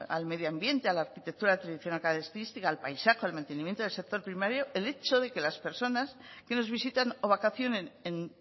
al medioambiente a la arquitectura tradicional característica al paisaje al mantenimiento del sector primario el hecho de que las personas que nos visitan o vacacionen